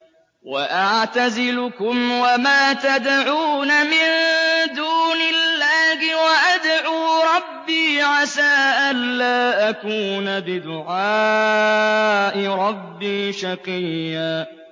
وَأَعْتَزِلُكُمْ وَمَا تَدْعُونَ مِن دُونِ اللَّهِ وَأَدْعُو رَبِّي عَسَىٰ أَلَّا أَكُونَ بِدُعَاءِ رَبِّي شَقِيًّا